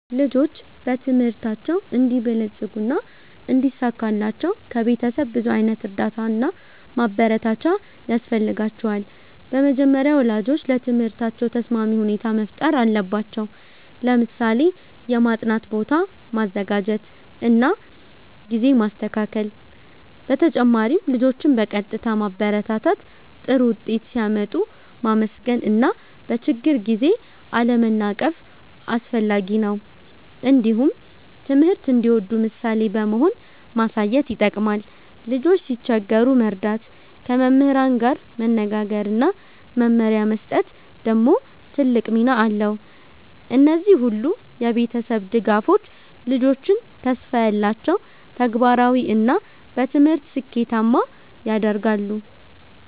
ልጆች በትምህርታቸው እንዲበለጽጉና እንዲሳካላቸው ከቤተሰብ ብዙ ዓይነት እርዳታ እና ማበረታቻ ያስፈልጋቸዋል። በመጀመሪያ ወላጆች ለትምህርታቸው ተስማሚ ሁኔታ መፍጠር አለባቸው፣ ለምሳሌ የማጥናት ቦታ ማዘጋጀት እና ጊዜ ማስተካከል። በተጨማሪም ልጆችን በቀጥታ ማበረታታት፣ ጥሩ ውጤት ሲያመጡ ማመስገን እና በችግር ጊዜ አለመናቀፍ አስፈላጊ ነው። እንዲሁም ትምህርት እንዲወዱ ምሳሌ በመሆን ማሳየት ይጠቅማል። ልጆች ሲቸገሩ መርዳት፣ ከመምህራን ጋር መነጋገር እና መመሪያ መስጠት ደግሞ ትልቅ ሚና አለው። እነዚህ ሁሉ የቤተሰብ ድጋፎች ልጆችን ተስፋ ያላቸው፣ ተግባራዊ እና በትምህርት ስኬታማ ያደርጋሉ።